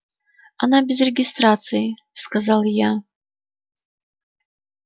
она без регистрации сказал я